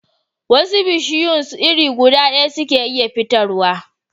Wasu bishiyun iri guda daya suke iya fitar wa